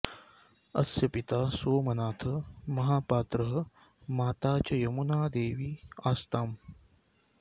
अस्य पिता सोमनाथ महापात्रः माता च यमुनादेवी आस्ताम्